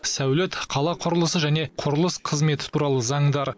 сәулет қала құрылысы және құрылыс қызметі туралы заңдар